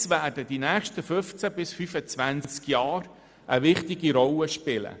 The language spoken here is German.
Netze werden während der nächsten 15 bis 25 Jahre eine wichtige Rolle spielen.